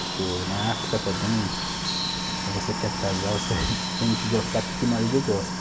Porque o, na África também, se você quer casar, você tem que gostar que que o marido gosta.